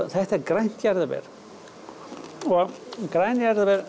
þetta er grænt jarðaber og græn jarðaber